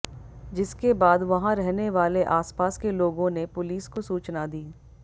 जिसके बाद वहां रहने वाले आसपास के लोगों ने पुलिस को सूचना दी